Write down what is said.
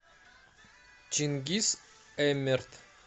чингиз эмерт